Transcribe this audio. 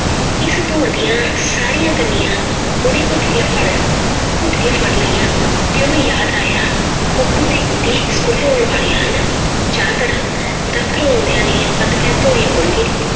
ਇਸ ਧੂੜ ਦੀਆਂ ਸਾਰੀਆਂ ਕੰਨੀਆਂ ਉਹਨੇ ਘੁੱਟ ਕੇ ਫੜ, ਘੁੱਟ ਕੇ ਫੜ ਲਈਆਂ ਤੇ ਉਹਨੂੰ ਯਾਦ ਆਇਆ ਤੇ ਗੁੱਡੀ ਸਕੂਲੋਂ ਆਉਣ ਵਾਲੇ ਹਨ, ਚਾਹ ਧਰਾਂ ਦਫ਼ਤਰੋਂ ਆਉਂਦਿਆਂ ਨੇ ਹੱਥ ਪੈਰ ਧੋਣੇ ਹੋਣਗੇ।